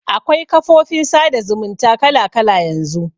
Akwai kafofin sada zumunta kala kala yanzu.